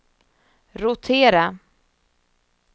rotera